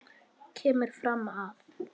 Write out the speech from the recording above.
kemur fram að